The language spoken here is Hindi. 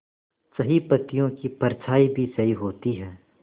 सही पत्तियों की परछाईं भी सही होती है